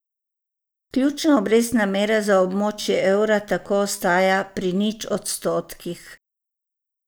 Ključna obrestna mera za območje evra tako ostaja pri nič odstotkih.